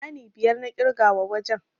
Ɗani biyar na ƙirga wa wajen.